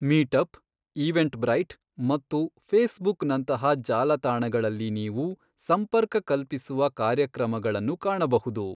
Meetup, Eventbrite ಮತ್ತು ಫೇಸ್ಬುಕ್ನಂತಹ ಜಾಲತಾಣಗಳಲ್ಲಿ ನೀವು, ಸಂಪರ್ಕ ಕಲ್ಪಿಸುವ ಕಾರ್ಯಕ್ರಮಗಳನ್ನು ಕಾಣಬಹುದು.